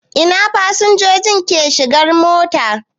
Ina fasinjoji ke shigan mota.